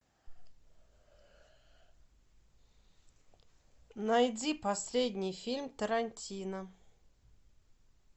найди последний фильм тарантино